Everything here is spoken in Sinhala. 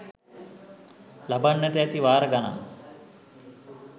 ලබන්නට ඇති වාර ගණන්